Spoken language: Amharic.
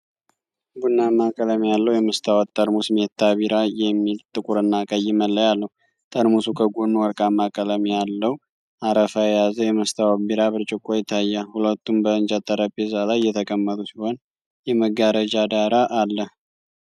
ቡናማ ቀለም ያለው የመስታወት ጠርሙስ 'meta beer' የሚል ጥቁርና ቀይ መለያ አለው። ጠርሙሱ ከጎኑ ወርቃማ ቀለም ያለው አረፋ የያዘ የመስታወት ቢራ ብርጭቆ ይታያል። ሁለቱም በእንጨት ጠረጴዛ ላይ የተቀመጡ ሲሆን፣ የመጋረጃ ዳራ አለ።